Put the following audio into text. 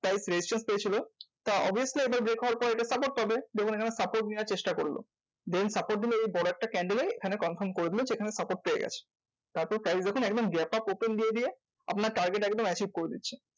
Price resistance পেয়েছিলো তা obviously আবার break হওয়ার পর এটা support পাবে। দেখুন এখানে support নেওয়ার চেষ্টা করলো then support নিলে বড় একটা candle এ এখানে confirm করে দিলো যে এখানে support পেয়ে গেছে। তাতে price যখন একদম gap up open দিয়ে দিয়ে আপনার target একদম achieve করে দিচ্ছে।